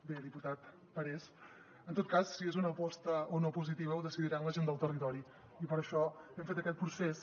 bé diputat parés en tot cas si és una aposta o no positiva ho decidiran la gent del territori i per això hem fet aquest procés